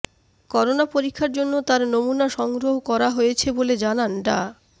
corona পরীক্ষার জন্য তার নমুনা সংগ্রহ করা হয়েছে বলে জানান ডা